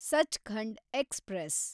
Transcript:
Sachkhand express